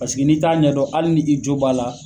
Paseke n'i t'a ɲɛdɔn hali ni i jo b'a la